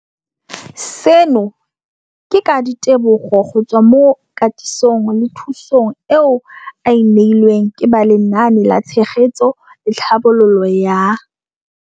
Seno ke ka ditebogo go tswa mo katisong le thu song eo a e neilweng ke ba Lenaane la Tshegetso le Tlhabololo ya